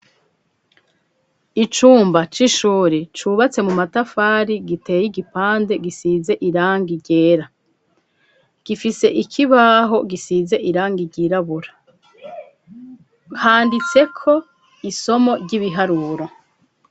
Icumba c'ishuri cubatse mu matafari giteye igipande gisize irangi ryera gifise ikibaho gisize irangi ryirabura handitse ko isomo ry'ibiharuro.